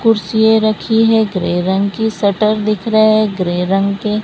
कुर्सियें रखी है ग्रे रंग की शटर दिख रहे है ग्रे रंग के।